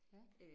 Ja